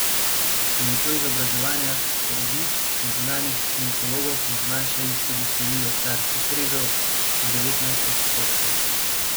S pomočjo izobraževanja porodnic in zunanjih ginekologov smo zmanjšali tudi število carskih rezov na devetnajst odstotkov.